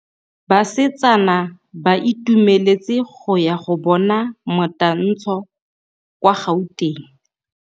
Basetsana ba itumeletse go ya go bona motantshô kwa Gauteng.